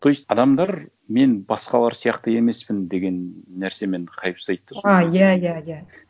то есть адамдар мен басқалар сияқты емеспін деген нәрсемен хайп жасайды да а иә иә иә